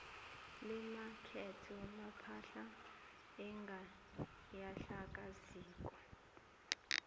lemakethe lepahla enganyakaziko